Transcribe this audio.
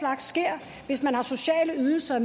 hvis man får sociale ydelser og